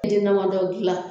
den damadɔ dilan